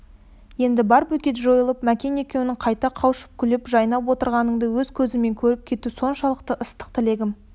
енді бар бөгет жойылып мәкен екеуің қайта қауышып күле жайнап отырғаныңды өз көзіммен көріп кету соншалық ыстық тілегім